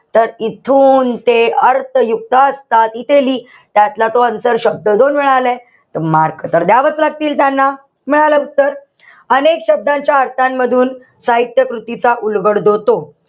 तर इथून ते अर्थयुक्त त्यातला तो अंतरशब्द जो मिळालाय, तर mark तर द्यावाच लागतील त्यांना. मिळालं उत्तर. अनेक शब्दांच्या अर्थांमधून, साहित्य कृतीचा उलगडतो तो.